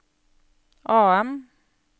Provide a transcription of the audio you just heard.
AM